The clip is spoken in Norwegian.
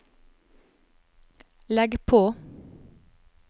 legg på